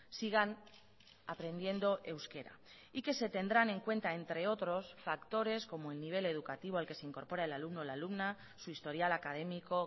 sigan aprendiendo euskera y que se tendrán en cuenta entre otros factores como el nivel educativo al que se incorpora el alumno o la alumna su historial académico